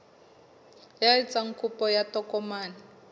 ya etsang kopo ya tokomane